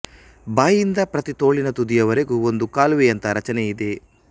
ಬಾಯಿಯಿಂದ ಪ್ರತಿತೋಳಿನ ತುದಿಯವರೆಗೂ ಒಂದು ಕಾಲುವೆ ಯಂಥ ರಚನೆ ಇದೆ